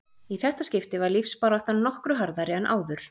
Í þetta skipti var lífsbaráttan nokkru harðari en áður.